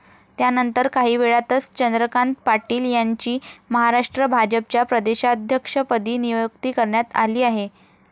त्यानंतर, काहीवेळातच चंद्रकांत पाटील यांची महाराष्ट्र भाजपच्या प्रदेशाध्यक्षपदी नियुक्ती करण्यात आली आहे.